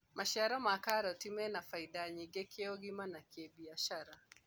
maciaro ma karoti mena baida nyingi kĩũgima na kĩbiashara